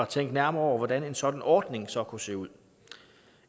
tænke nærmere over hvordan en sådan ordning så kunne se ud